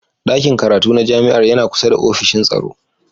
Ɗakin karatu na jami'ar yana kusa da ofishin tsaro.